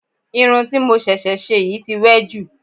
Irun ti mo ṣẹ̀ṣẹ̀ ṣe yìí tí wẹ́ jù